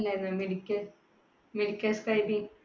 medical, medical scribing